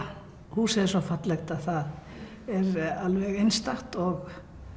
húsið er svo fallegt það er alveg einstakt og